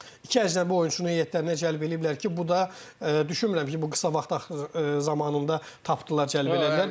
İki əcnəbi oyunçunu heyətlərinə cəlb eləyiblər ki, bu da düşünmürəm ki, bu qısa vaxt axır zamanında tapdılar, cəlb eləyə bilərlər.